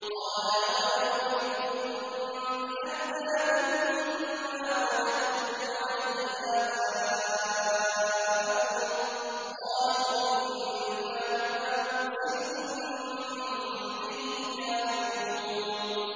۞ قَالَ أَوَلَوْ جِئْتُكُم بِأَهْدَىٰ مِمَّا وَجَدتُّمْ عَلَيْهِ آبَاءَكُمْ ۖ قَالُوا إِنَّا بِمَا أُرْسِلْتُم بِهِ كَافِرُونَ